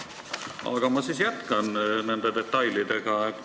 Aga ma jätkan detailidega.